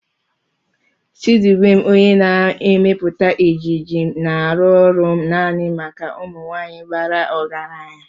Chidubem onye na-emepụta ejiji na-arụ ọrụ naanị maka ụmụ nwanyị bara ọgaranya.